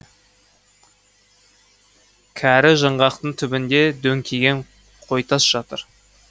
кәрі жаңғақтың түбінде дөңкиген қойтас жатыр